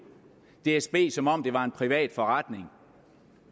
dsb som om det var en privat forretning